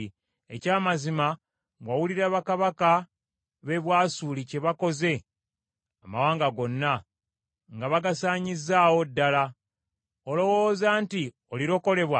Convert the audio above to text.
Ekyamazima wawulira bakabaka b’e Bwasuli kye bakoze amawanga gonna, nga bagasaanyizaawo ddala. Olowooza nti olirokolebwa?